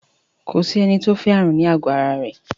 Ko sí ẹni tó fẹ́ ààrùn ní àgọ ara rẹ̀